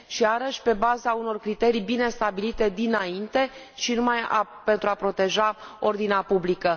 Și iarăși, pe baza unor criterii bine stabilite dinainte și numai pentru a proteja ordinea publică.